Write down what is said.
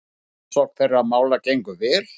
Rannsókn þeirra mála gengur vel.